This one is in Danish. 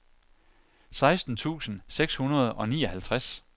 seksten tusind seks hundrede og nioghalvtreds